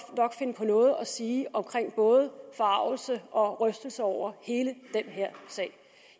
finde på noget at sige om både forargelse og rystelse over hele den her sag